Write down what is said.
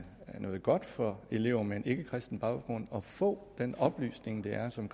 noget godt for elever med en ikkekristen baggrund at få den oplysning det er som